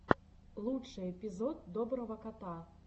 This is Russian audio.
лучший эпизод доброго кота